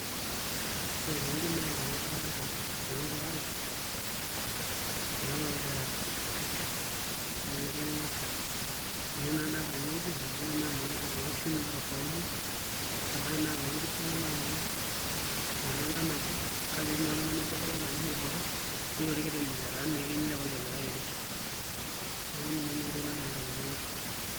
Ore tenewueji naa iloingo'k adolita iloingo'k aare naa loogira aara neeku ninye naa adolta tenewueji neeku naa iloonkishu naa tofauti ebaiki naa iloonkishu naai enkang' nabo kake etii naa oloing'oni adake laa ninye orbotorr netii orkiti laa keyieu nilepaki olikae naa airish, neeku ninye naa entoki nadolita tenewueji.